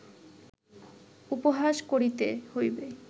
উপহাস করিতে হইবে